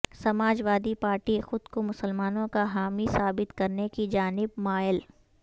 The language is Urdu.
سماج وادی پارٹی خود کو مسلمانوں کا حامی ثابت کرنے کی جانب مائل